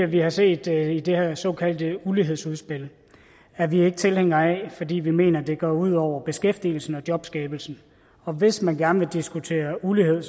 vi har set i det her såkaldte ulighedsudspil er vi ikke tilhængere af fordi vi mener at det går ud over beskæftigelsen og jobskabelsen hvis man gerne vil diskutere ulighed